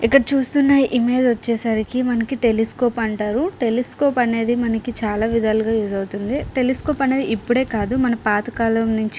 ఇక్కడ చూస్తున్న ఇమేజ్ వచ్చేసరికి టెలిస్కోప్ అంటారు. టెలిస్కోప్ అనేది మనకి చాలా విధాలుగా గా యూస్ అవుతుంది. టెలిస్కోప్ అనేది ఇప్పుడే కాదు మన పాతకాలం నుంచి--